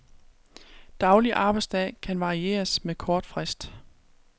Daglig arbejdsdag kan varieres med kort frist.